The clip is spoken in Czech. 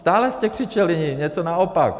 Stále jste křičeli něco naopak!